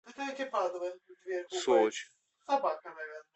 сочи